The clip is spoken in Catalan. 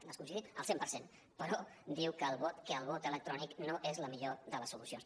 nosaltres hi coincidim al cent per cent però diu que el vot electrònic no és la millor de les solucions